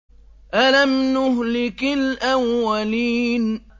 أَلَمْ نُهْلِكِ الْأَوَّلِينَ